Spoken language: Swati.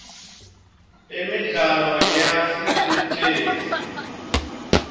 imidlalo yasesitesi